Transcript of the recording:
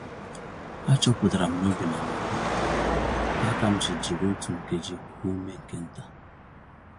A chọpụtara m n'obi na-amapụm, ya kam ji jiri otú nkeji kuo ume nke ntà